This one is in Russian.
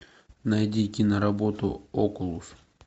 найди киноработу окулус